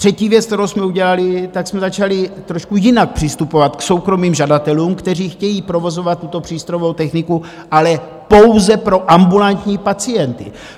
Třetí věc, kterou jsme udělali, tak jsme začali trošku jinak přistupovat k soukromým žadatelům, kteří chtějí provozovat tuto přístrojovou techniku, ale pouze pro ambulantní pacienty.